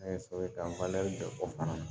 An ye so ta